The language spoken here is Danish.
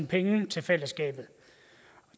penge til fællesskabet